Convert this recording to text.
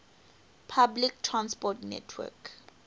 public transport network